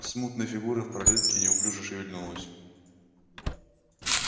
смутная фигура в проётке неуклюже шевельнулась